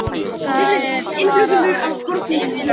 Það er bara eðlilegt